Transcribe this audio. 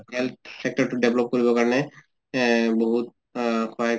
health sector তো develop কৰিব কাৰণে এ বহুত আ সহায়